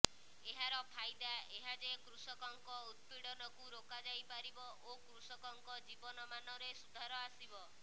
ଏହାର ଫାଇଦା ଏହା ଯେ କୃଷକଙ୍କ ଉତ୍ପୀଡନକୁ ରୋକା ଯାଇ ପାରିବ ଓ କୃଷକଙ୍କ ଜୀବନମାନରେ ସୁଧାର ଆସିବ